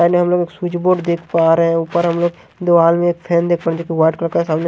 सामने हम लोग एक स्विच बोर्ड देख पा रहे ऊपर हम लोग देवाल में एक फैन देख सामने--